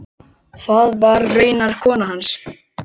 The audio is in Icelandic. Það var raunar konan hans.